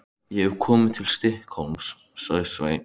Ég hef komið til Stykkishólms, sagði Svenni.